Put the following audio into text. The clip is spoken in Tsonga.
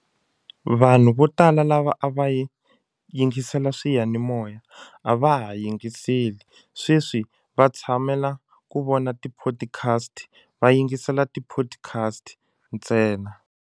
Vanhu vo tala lava a va yi yingisela swiyanimoya a va ha yingiseli sweswi va tshamela ku vona tiphodikhasti va yingisela tiphodikhasti ntsena.